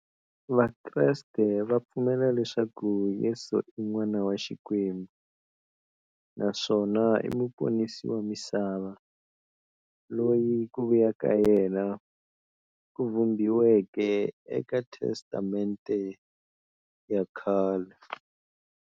Vakreste va pfumela leswaku Yesu i n'wana wa Xikwembu naswona i muponisi wa misava, loyi ku vuya ka yena ku vhumbiweke eka Testamente ya khale.